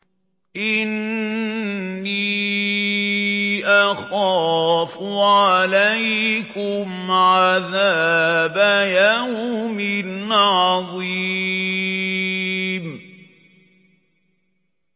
إِنِّي أَخَافُ عَلَيْكُمْ عَذَابَ يَوْمٍ عَظِيمٍ